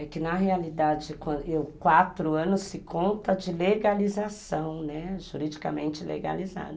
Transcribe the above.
É que na realidade, quatro anos se conta de legalização, juridicamente legalizada.